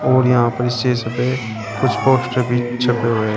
और यहां पर शीशे पे कुछ पोस्टर भी छपे हुए है।--